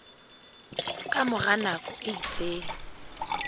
ka mora nako e itseng